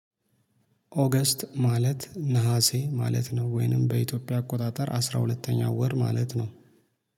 ኦገስት ማለት ነሀሴ ማለት ነው። ወይንም በኢትዮጵያ አቆጣጠር አስራ ሁለተኛ ወር ማለት ነው